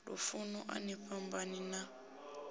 lufuno a ni fhambani na